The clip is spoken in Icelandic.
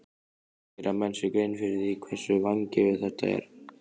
Gera menn sér grein fyrir því hversu vangefið þetta er?